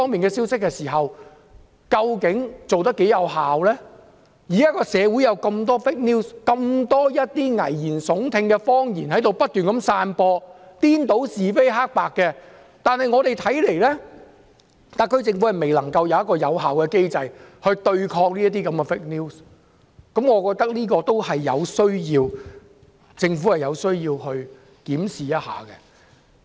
現時有這麼多虛假新聞，這麼多危言聳聽的謊言正在不斷散播，顛倒是非黑白，但特區政府卻未有有效的機制來對抗虛假新聞，我認為政府有需要檢視一下。